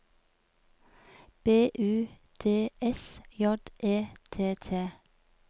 B U D S J E T T